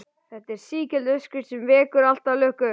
Þetta er sígild uppskrift sem vekur alltaf lukku.